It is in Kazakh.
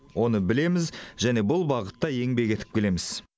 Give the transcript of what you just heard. оны білеміз және бұл бағытта еңбек етіп келеміз